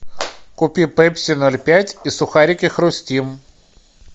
купи пепси ноль пять и сухарики хрустим